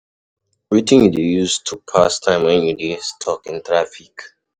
Wetin you dey use to pass time when you dey stuck in traffic?